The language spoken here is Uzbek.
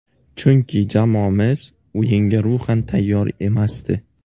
Chunki jamoamiz o‘yinga ruhan tayyor emasdi.